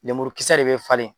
Lemurukisɛ de bɛ falenɔ